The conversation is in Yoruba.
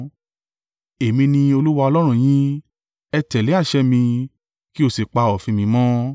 Èmi ni Olúwa Ọlọ́run yín, ẹ tẹ̀lé àṣẹ mi, kí ó sì pa òfin mi mọ́.